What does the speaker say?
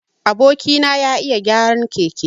Aboki na ya iya gyaran keke.